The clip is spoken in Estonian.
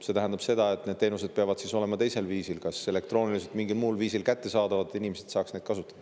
See tähendab ka seda, et peavad teenused olema teisel viisil, kas elektrooniliselt või mingil muul viisil, kättesaadavad, et inimesed saaks neid kasutada.